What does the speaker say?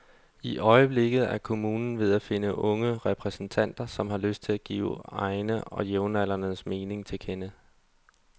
I øjeblikket er kommunen ved at finde unge repræsentanter, som har lyst til at give egne og jævnaldrendes mening til kende.